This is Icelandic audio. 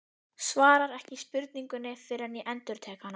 Svarar ekki spurningunni fyrr en ég endurtek hana.